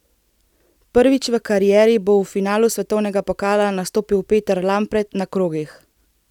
Prvič v karieri bo v finalu svetovnega pokala nastopil Peter Lampret na krogih.